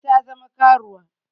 Ladi ta zama karuwa